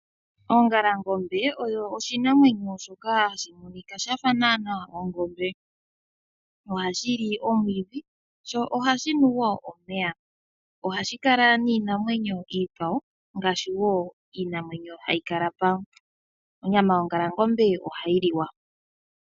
Ongalangombe oyo oshinamwenyo shoka hashi monika shafa naanaa ongombe. Ohashi li omwiidhi sho ohashi nu wo omeya. Ohashi kala niinamwenyo iikwawo ngaashi wo iinamwenyo hayi kala pamwe. Onyama yongalangombe ohayi liwa.